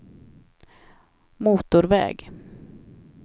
motorväg